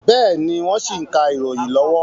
Bẹ́ẹ̀ni, wọ́n ṣì ń ka ìròyìn lọ́wọ́